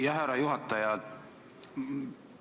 Jah, härra juhataja!